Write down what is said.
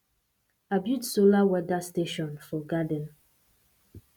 i build solar weather station for garden